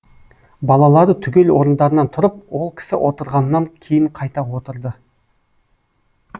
балалары түгел орындарынан тұрып ол кісі отырғаннан кейін қайта отырды